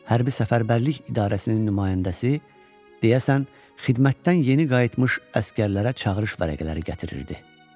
Hərbi Səfərbərlik İdarəsinin nümayəndəsi, deyəsən, xidmətdən yeni qayıtmış əsgərlərə çağırış vərəqələri gətirirdi.